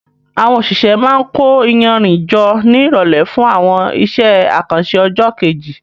Àwọn òṣìṣẹ́ máa ń kó iyanrìn jọ ní ìrọ̀lẹ́ fún àwọn iṣẹ́ àkànṣe ọjọ́ kejì.